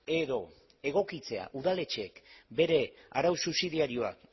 edo egokitzea udaletxeek bere arau subsidiarioak